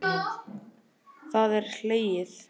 Það er hlegið.